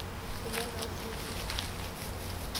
Kule naisisho.